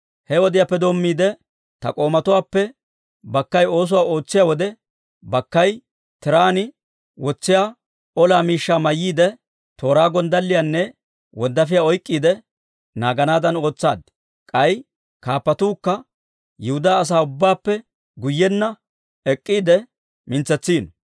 He wodiyaappe doommiide, ta k'oomatuwaappe bakkay oosuwaa ootsiyaa wode, bakkay tiraan wotsiyaa ola miishshaa mayyiide, tooraa, gonddalliyaanne wonddaafiyaa oyk'k'iide naaganaadan ootsaad. K'ay kaappatuukka Yihudaa asaa ubbaappe guyyenna ek'k'iide mintsetsiino.